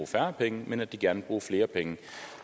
færre penge men at de gerne vil bruge flere penge